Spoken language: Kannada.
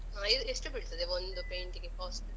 ಎಷ್ಟು ಬೀಳ್ತದೆ ಒಂದು paint ಟಿಗೆ cost?